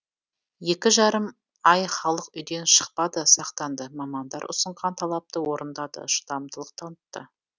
екі жарым ай халық үйден шықпады сақтанды мамандар ұсынған талапты орындады шыдамдылық танытты